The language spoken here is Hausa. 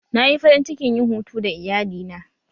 Na yi farin cikin yin hutu da iyalina